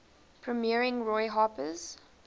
premiering roy harper's